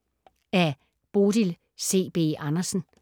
Af Bodil C. B. Andersen